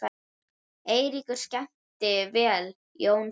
Eiríkur skemmti vel, Jón síður.